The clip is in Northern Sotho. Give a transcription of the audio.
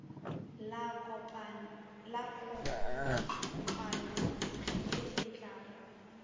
la kopano ye e tlago